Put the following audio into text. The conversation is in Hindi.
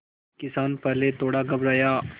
किसान पहले थोड़ा घबराया